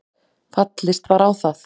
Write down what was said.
Fallist var á það